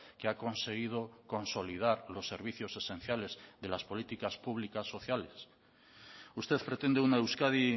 que ha conseguido consolidar los servicios esenciales de las políticas públicas sociales usted pretende una euskadi